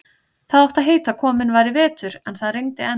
Það átti að heita að kominn væri vetur, en það rigndi enn.